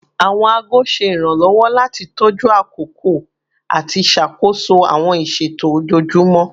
Awọn aago ṣe iranlọwọ lati tọju akoko ati ṣakoso awọn iṣeto ojoojumọ